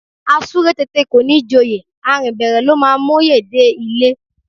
A súré tete kò ní joyè, a rìn bẹ̀rẹ̀ ló máa móyè dé ilé